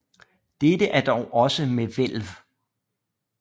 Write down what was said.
Dette er dog også med hvælv